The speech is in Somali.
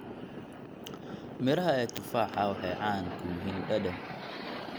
Midhaha ee tufaha waxay caan ku yihiin dhadhan.